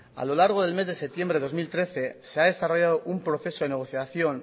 a lo largo del mes de septiembre de dos mil trece se ha desarrollado un proceso de negociación